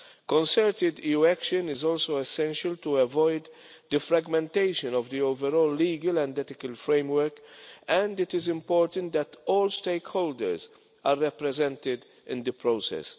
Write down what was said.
Concerted EU action is also essential to avoid the fragmentation of the overall legal and ethical framework, and it is important that all stakeholders are represented in the process.